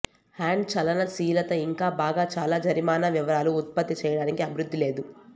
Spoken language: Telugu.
హ్యాండ్ చలనశీలత ఇంకా బాగా చాలా జరిమానా వివరాలు ఉత్పత్తి చేయడానికి అభివృద్ధి లేదు